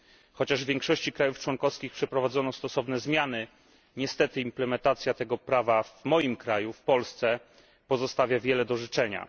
Chociaż w większości krajów członkowskich przeprowadzono stosowne zmiany, niestety implementacja tego prawa w Polsce pozostawia wiele do życzenia.